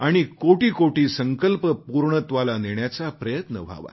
करोडो संकल्प पूर्णत्वाला नेण्याचा प्रयत्न व्हावा